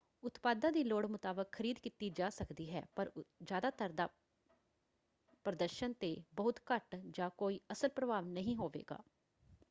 ਉਤਪਾਦਾਂ ਦੀ ਲੋੜ ਮੁਤਾਬਕ ਖਰੀਦ ਕੀਤੀ ਜਾ ਸਕਦੀ ਹੈ ਪਰ ਜ਼ਿਆਦਾਤਰ ਦਾ ਪ੍ਰਦਰਸ਼ਨ 'ਤੇ ਬਹੁਤ ਘੱਟ ਜਾਂ ਕੋਈ ਅਸਲ ਪ੍ਰਭਾਵ ਨਹੀਂ ਹੋਵੇਗਾ।